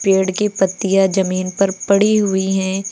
पेड़ की पत्तियां जमीन पर पड़ी हुई हैं।